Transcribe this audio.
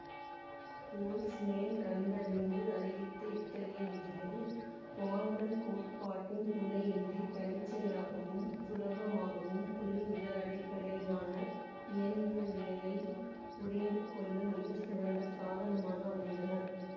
Boltzmann கண்டறிந்து அறிவித்த இத்ததகைய விதிகள் குவாண்டம் கோட்பாட்டின் துணையின்றி தன்னிச்சையாகவும் சுலபமாகவும் புள்ளி விவர அடிப்படையிலான இயந்திரவியலை புரிந்து கொள்ள மிகச்சிறந்த சாதனமாக அமைந்தன